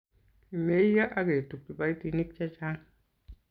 kimeiyo aketub kiboitinik che chang'